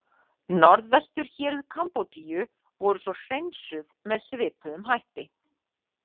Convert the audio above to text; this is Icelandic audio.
Norðvesturhéruð Kambodíu voru svo „hreinsuð“ með svipuðum hætti.